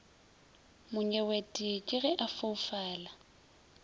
monyewete ke ge a foufala